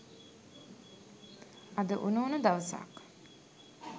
අද උණු උණු දවසක්.